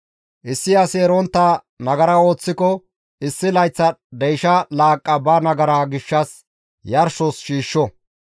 « ‹Issi asi erontta nagara ooththiko issi layththa deysha laaqqa ba nagara gishshas yarshos shiishsho.